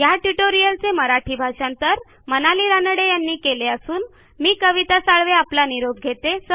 ह्या ट्युटोरियलचे मराठी भाषांतर मनाली रानडे यांनी केलेले असून मी कविता साळवे आपला निरोप घेते